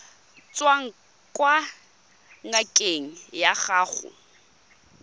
tswang kwa ngakeng ya gago